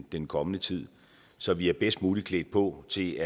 i den kommende tid så vi er bedst muligt klædt på til